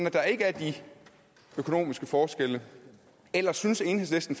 der ikke er de økonomiske forskelle eller synes enhedslisten